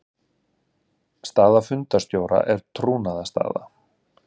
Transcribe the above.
Staða fundarstjóra er trúnaðarstaða.